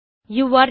யூரே இன்